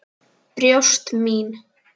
Brjóst mín.